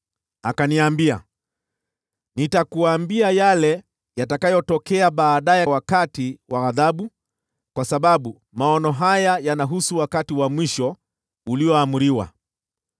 Akaniambia, “Nitakuambia yale yatakayotokea baadaye wakati wa ghadhabu, kwa sababu maono haya yanahusu wakati wa mwisho ulioamriwa.